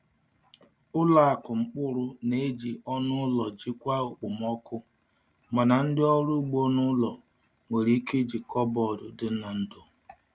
Ụlọ akụ mkpụrụ na-eji ọnụ ụlọ jikwaa okpomọkụ, mana ndị ọrụ ugbo n’ụlọ nwere ike iji kọbọd dị n’ndò.